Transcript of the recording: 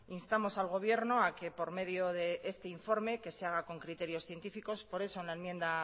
instamos al gobierno a que por medio de este informe que se haga con criterios científicos por eso en la enmienda